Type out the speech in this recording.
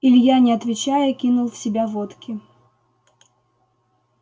илья не отвечая кинул в себя водки